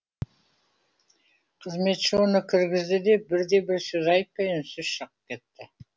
қызметші оны кіргізді де бірде бір сөз айтпай үнсіз шығып кетті